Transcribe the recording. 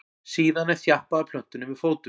síðan er þjappað að plöntunni með fótum